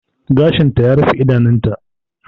Gashinta ya rufe idonta.